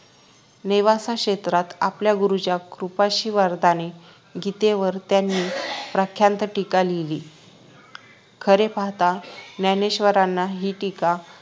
नेवासे क्षेत्रात आपल्या गुरूंच्या कृपाआशीर्वादाने गीतेवर त्यांनी प्रख्यात टीका लिहिली खरे पाहता ज्ञानेश्वरांनी हि टीका